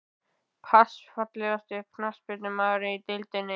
Pass Fallegasti knattspyrnumaðurinn í deildinni?